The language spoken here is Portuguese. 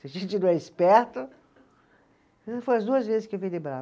Se a gente não é esperto Foi as duas vezes que eu vi ele bravo.